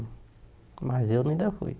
Mas eu ainda fui